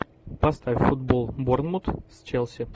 поставь футбол борнмут с челси